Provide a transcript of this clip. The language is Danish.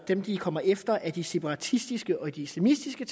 dem de kommer efter er de separatistiske og de semistiske